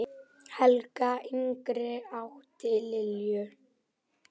Helga yngri átti Lilju.